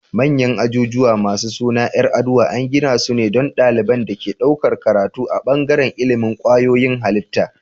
Manyan ajujuwa masu sunan yar aduwa an gidasu ne don daliban da ke ɗaukar karatu a bangaran ilimin kwayoyin halitta